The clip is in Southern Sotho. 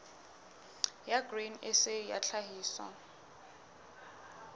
ya grain sa ya tlhahiso